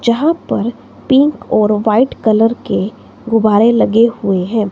यहां पर पिंक और व्हाईट कलर के गुब्बारे लगे हुए हैं।